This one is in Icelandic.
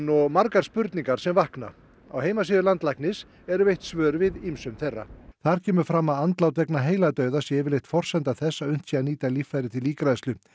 og margar spurningar sem vakna á heimasíðu embættis landlæknis eru veitt svör við ýmsum þeirra sem þar kemur fram að andlát vegna heiladauða sé yfirleitt forsenda þess að unnt sé að nýta líffæri til ígræðslu